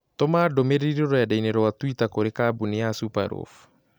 Tũma ndũmĩrĩri rũrenda-inī rũa tũita kũrĩ kambuni ya Superloaf